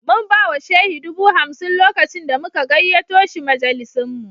Mun ba wa Shehi dubu hamsin lokacin da muka gayyato shi majalisinmu